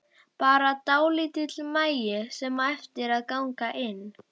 Bara dálítill magi sem á eftir að ganga inn.